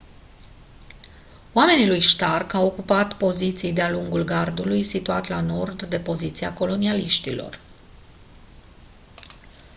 oamenii lui stark au ocupat poziții de-a lungul gardului situat la nord de poziția colonialiștilor